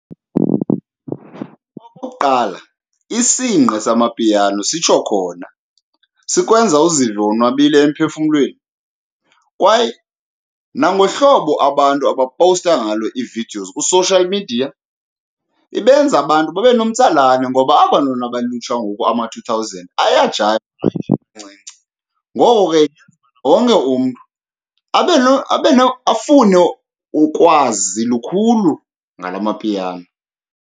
Okokuqala, isingqi samapiano sitsho khona, sikwenza uzive wonwabile emphefumlweni kwaye nangohlobo abantu abapowusta ngalo ii-videos kwi-social media ibenza abantu babe nomtsalane, ngoba aba bantwana balulutsha ngoku, ama-two thousand ayajayiva hayi nje kancinci. Ngoko ke, yenza wonke umntu abe , afune ukwazi lukhulu ngala mapiano.